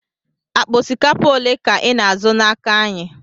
Akpa osikapa ole ka ị na-azụ n'aka anyị?